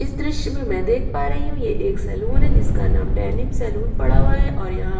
इस द्र्श्य में मैं देख पा रही हूँ ये एक सलून है जिसका नाम डेनिम सलून पड़ा हुआ है और यहाँ --